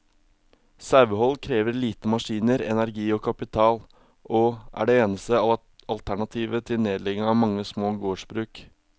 Sauehold krever lite maskiner, energi og kapital, og er det eneste alternativet til nedlegging av mange små gårdsbruk.